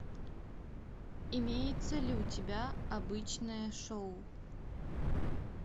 имеется ли у тебя обычное шоу